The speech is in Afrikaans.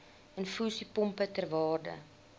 infusiepompe ter waarde